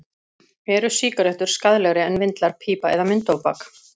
Eru sígarettur skaðlegri en vindlar, pípa eða munntóbak?